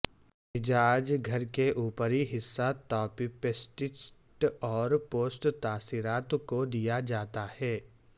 عجائب گھر کے اوپری حصہ تاپیپسٹسٹسٹ اور پوسٹ تاثرات کو دیا جاتا ہے